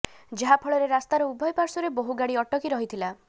ଯାହାଫଳରେ ରାସ୍ତାର ଉଭୟ ପାର୍ଶ୍ବରେ ବହୁ ଗାଡ଼ି ଅଟକି ରହିଥିଲା